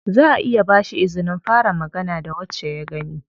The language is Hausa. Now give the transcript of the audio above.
Zaʼa iya ba shi izinin fara magana da wacce ya gani.